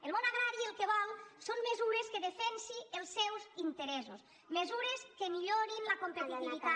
el món agrari el que vol són mesures que defensin els seus interessos mesures que millorin la compe·titivitat